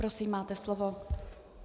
Prosím, máte slovo.